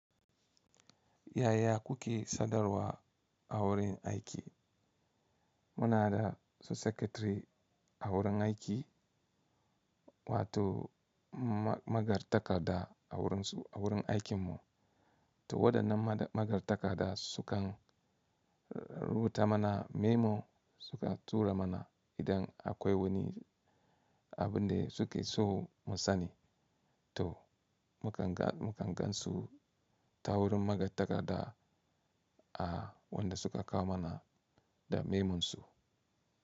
Yaya kuke sadarwa a wurin aiki? Muna da su Secretary a wurin aiki wato magartaka da a wurin aikin mu. To waɗannan magartaka da sukan rubuta mana memo suka tura mana idan akwai wani abin da suke so mu sani. To mu kan gansu ta wurin magartaka da a wanda suka kawo mana da memonsu.